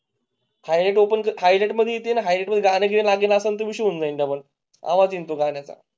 काही ओपन हाइड मध्ये लाईट वगैरे लागेल असेल. तुम्ही शून्य डबल आवाज येतो घेण्या चा